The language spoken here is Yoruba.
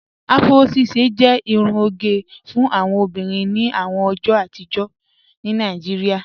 Afúró ṣíṣẹ jẹ irún ogẹ fún awọn obìnrin ní àwọn ọjọ́ àtìjọ̀ ní Naijíríà